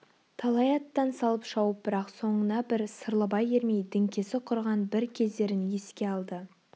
талай аттан салып шауып бірақ соңына бір сырлыбай ермей діңкесі кұрыған бір кездерін еске алды